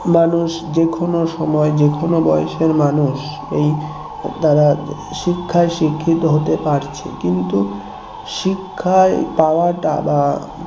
মানুষ যেকোনো সময় যে কোন বয়সের মানুষ এই তারা শিক্ষায় শিক্ষিত হতে পারছে কিন্তু শিক্ষা পাওয়া টা বা